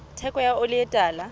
theko ya oli e tala